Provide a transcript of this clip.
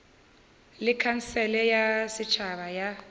le khansele ya setšhaba ya